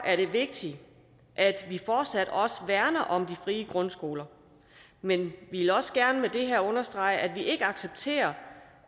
er det vigtigt at vi fortsat også værner om de frie grundskoler men vi vil også gerne understrege at vi ikke accepterer